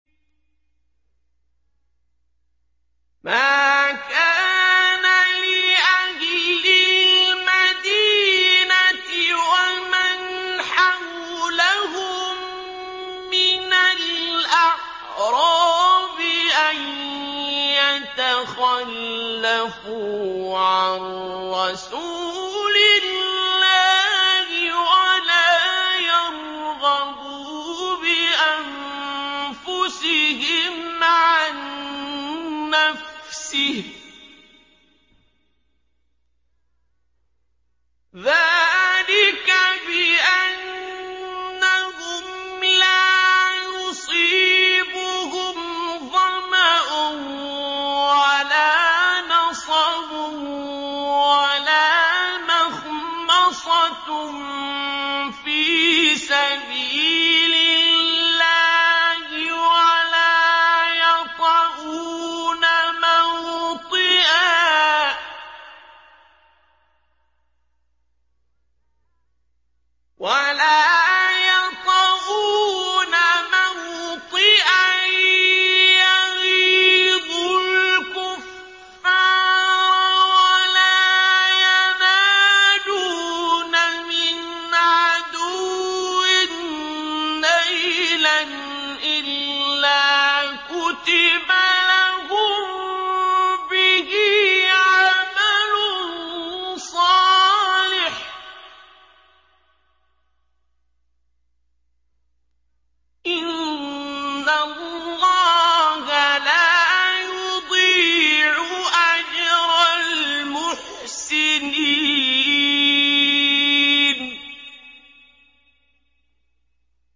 مَا كَانَ لِأَهْلِ الْمَدِينَةِ وَمَنْ حَوْلَهُم مِّنَ الْأَعْرَابِ أَن يَتَخَلَّفُوا عَن رَّسُولِ اللَّهِ وَلَا يَرْغَبُوا بِأَنفُسِهِمْ عَن نَّفْسِهِ ۚ ذَٰلِكَ بِأَنَّهُمْ لَا يُصِيبُهُمْ ظَمَأٌ وَلَا نَصَبٌ وَلَا مَخْمَصَةٌ فِي سَبِيلِ اللَّهِ وَلَا يَطَئُونَ مَوْطِئًا يَغِيظُ الْكُفَّارَ وَلَا يَنَالُونَ مِنْ عَدُوٍّ نَّيْلًا إِلَّا كُتِبَ لَهُم بِهِ عَمَلٌ صَالِحٌ ۚ إِنَّ اللَّهَ لَا يُضِيعُ أَجْرَ الْمُحْسِنِينَ